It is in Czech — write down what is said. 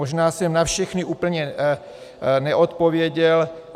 Možná jsem na všechny úplně neodpověděl.